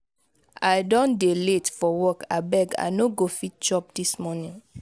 i don dey late for work abeg i no go fit chop dis morning.